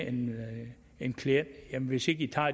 en klient hvis i ikke tager